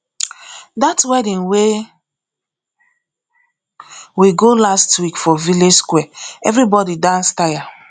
dat wedding wey we go last week for village square everybodi dance tire